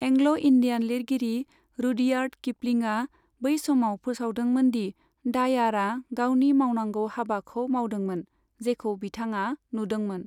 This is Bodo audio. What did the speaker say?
एंग्ल' इन्डियान लिरगिरि रुडियार्ड किपलिंआ बै समाव फोसावदोंमोन दि डायारआ गावनि मावनांगौ हाबाखौ मावदोंमोन, जेखौ बिथाङा नुदोंमोन।